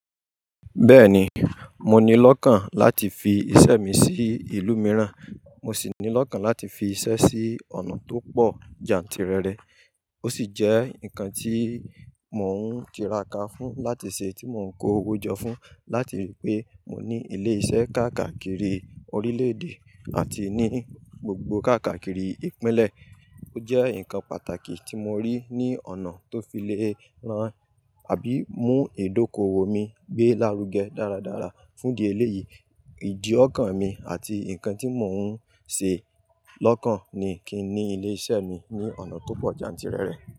Bẹ́ẹ̀ni, mo ni lọ́kàn láti fi iṣẹ́ mi sí ìlú mìíràn, mo sì ní lọ́kàn láti fi iṣẹ́ sí ọ̀nà tó pọ̀ jantìrẹrẹ. Ó sì jẹ́ nǹkan tí mò ń tira ká fún láti ṣe tí mò ń kó owó jọ fún láti rí i pé mò ní ilé iṣẹ́ káàkakiri orílédé àti ní gbogbo káàkakiri ìpínlẹ̀. Ó jẹ́ nǹkan pàtàkì tí mo rí ní ọ̀nà tó fi lè rán àbí mú ìdókòwò mi gbé lárugẹ dáradára. Fún di eléyìí, ìdí ọ́kàn mi àti nǹkan tí mò ń ṣe lọ́kàn ni kí n ní ilé iṣẹ́ mi ní ọ̀nà tó pọ̀ jantìrẹrẹ.